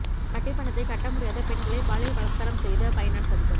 வட்டிப் பணத்தைக் கட்ட முடியாத பெண்களைப் பாலியல் பலாத்காரம் செய்த பைனான்ஸ் அதிபர்